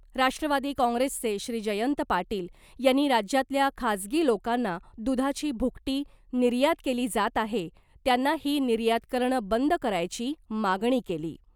राष्ट्रवादी काँग्रेसचे श्री जयंत पाटील यांनी राज्यातल्या खाजगी लोकांना दुधाची भुकटी निर्यात केली जात आहे त्यांना ही निर्यात करणं बंद करायची मागणी केली .